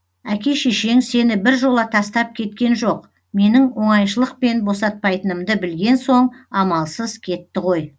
әке шешең сені біржола тастап кеткен жоқ менің оңайшылықпен босатпайтынымды білген соң амалсыз кетті ғой